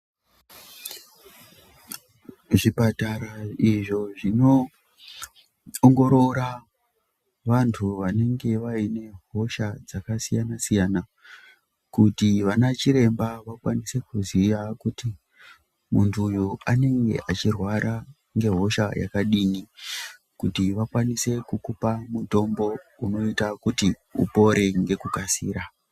Zvipatara izvo zvonoongorora vantu vanenge vaine hosha dzakasiyana siyana kuti vana chiremba vakwanise kuziya kuti muntu uyu anenge achirwara nehosha yakadini kuti vakwanise kukupa mutombo unoita kuti upore nekukasira.